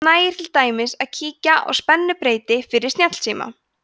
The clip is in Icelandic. það nægir til dæmis að kíkja á spennubreyti fyrir snjallsíma